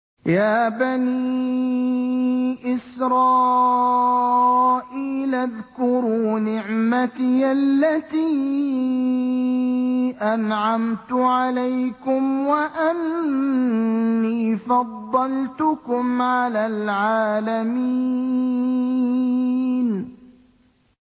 يَا بَنِي إِسْرَائِيلَ اذْكُرُوا نِعْمَتِيَ الَّتِي أَنْعَمْتُ عَلَيْكُمْ وَأَنِّي فَضَّلْتُكُمْ عَلَى الْعَالَمِينَ